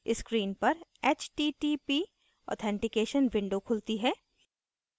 screen पर http authentication window दिखती है